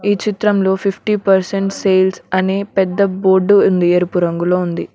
ఈ చిత్రంలో fifty percent sales అని పెద్ద బోర్డు ఉంది ఎరుపు రంగులో ఉంది.